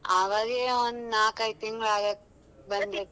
ಆವಾಗೇ ಒಂದ್ ನಾಕ್ ಐದ್ ತಿಂಗ್ಳ್ ಆಗಾಕ್ ಬಂದೈತಿ.